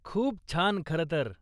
खूप छान, खरं तर.